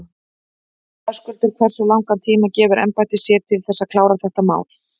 Höskuldur: Hversu langan tíma gefur embættið sér til þess að klára þetta mál?